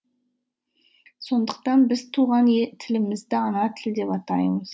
сондықтан біз туған тілімізді ана тілі деп атаймыз